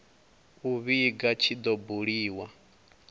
u vhiga tshi do buliwa